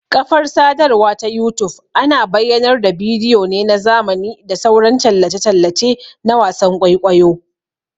Ƙafar sadarwa ta youtube ana bayyanar da bidiyo ne na zamani da sauran tallace-tallace na wasan ƘwaiƘwaiyo